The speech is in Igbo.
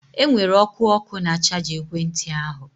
Enwere ọkụ ọkụ na chaja ekwentị ahụ